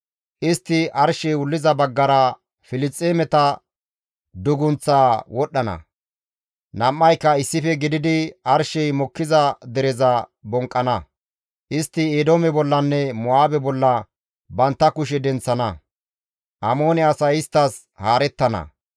Istti arshey wulliza baggara Filisxeemeta dugunththaa wodhdhana; nam7ayka issife gididi arshey mokkiza dereza bonqqana; istti Eedoome bollanne Mo7aabe bolla bantta kushe denththana; Amoone asay isttas haarettana.